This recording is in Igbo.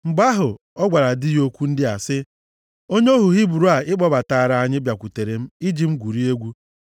Mgbe ahụ, ọ gwara di ya okwu ndị a sị, “Onye ohu Hibru a ị kpọbataara anyị bakwutere m iji m gwurie egwu.